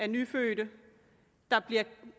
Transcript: nyfødte der bliver